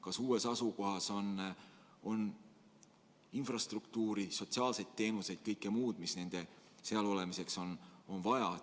Kas uues asukohas on infrastruktuur, sotsiaalsed teenused, kõik muu, mida nende seal olemiseks on vaja?